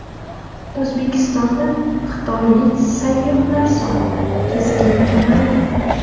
O‘zbekistonda xitoylik sayyohlar soni keskin kamaydi.